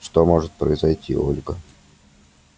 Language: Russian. что может произойти ольга